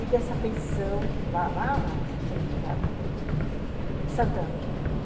E dessa pensão, lá no centro da do em Santana.